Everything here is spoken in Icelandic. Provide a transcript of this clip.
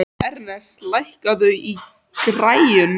Ernest, lækkaðu í græjunum.